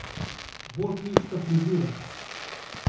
Bolj kmečka frizura.